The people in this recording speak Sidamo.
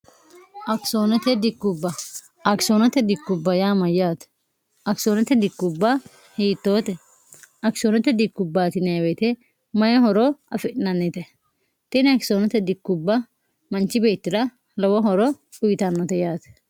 akisoonote dikkubba akisoonote dikkubba yaama yaate akisoonote dikkubba hiittoote akisoonote dikkubbatineewete mayi horo afi'nannite tini akisoonote dikkubba manchi beettira lowo horo uyitannote yaate